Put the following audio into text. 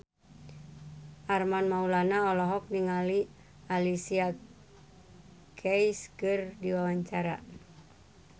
Armand Maulana olohok ningali Alicia Keys keur diwawancara